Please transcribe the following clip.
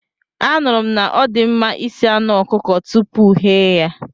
Anụrụ m na ọdịmma isi anụ ọkụkọ tupu ghee ya.